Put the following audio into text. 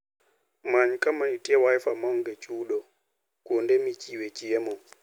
Many kama nitie Wi-Fi maonge chudo e kuonde michiwe chiemo.